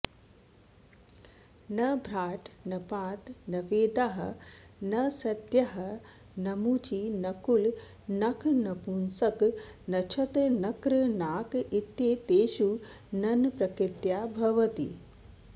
नभ्राट् नपात् नवेदाः नासत्याः नमुचि नकुल नख नपुंसक नक्षत्र नक्र नाक इत्येतेषु नञ् प्रकृत्या भवति